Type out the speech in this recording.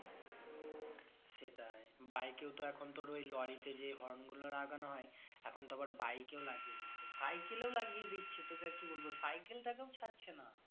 সেটাই bike এও তো এখন লরিতে যে horn গুলো লাগানো হয় এখন তো আবার bike এও লাগিয়ে দিচ্ছে cycle এও লাগিয়ে দিচ্ছে তোকে আর কি বলবো cycle টাকেও ছাড়ছে না